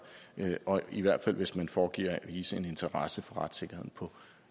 og i hvert fald hvis man foregiver at vise interesse for retssikkerheden på